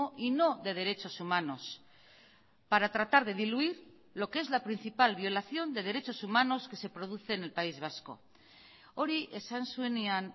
y no de derechos humanos para tratar de diluir lo que es la principal violación de derechos humanos que se produce en el país vasco hori esan zuenean